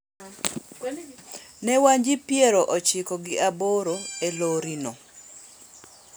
Ne wan ji piero ochiko gi aboro e lorino.